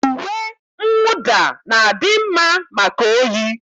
Uwe mwụda na-adị mma maka oyi